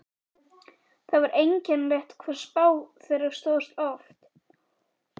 Það var einkennilegt hvað spá þeirra stóðst oft.